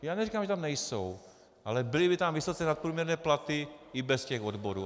Já neříkám, že tam nejsou, ale byly by tam vysoce nadprůměrné platy i bez těch odborů.